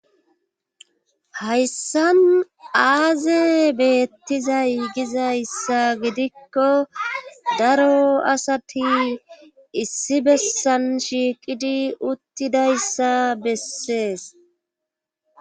Hayssan aaze beettizay gizayssa gidikko daro asati issi bessan shiiqidi uttidayssa bessees.